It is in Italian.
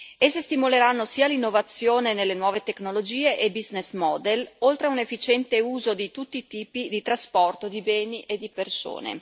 Esse stimoleranno sia l'innovazione nelle nuove tecnologie e i business model oltre a un efficiente uso di tutti i tipi di trasporto di beni e di persone.